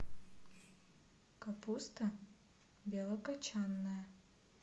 капуста белокочанная